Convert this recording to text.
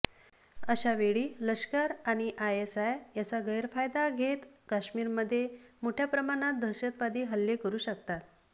अशा वेळी लष्कर आणि आयएसआय याचा गैरफायदा घेत कश्मीरमध्ये मोठय़ा प्रमाणात दहशतवादी हल्ले करू शकतात